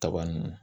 Kaba nunnu